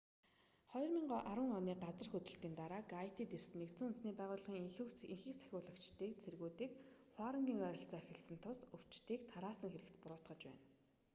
2010 оны газар хөдлөлтийн дараа гайтид ирсэн нүб-ын энхийг сахиулагчдыг цэргүүдийн хуарангийн ойролцоо эхэлсэн тус өвчнийг тараасан хэрэгт буруутгаж байна